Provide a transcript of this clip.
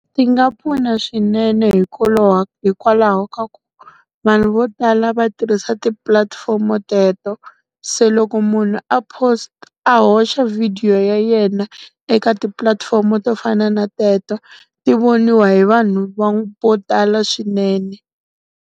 Ti nga pfuna swinene hikwalaho ka ku, vanhu vo tala va tirhisa tipulatifomo teto. Se loko munhu a post a hoxa video ya yena eka tipulatifomo to fana na teto, ti voniwa hi vanhu vo tala swinene.